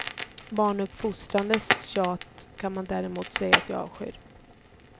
Barnuppfostrandets tjat kan man däremot säga att jag avskyr.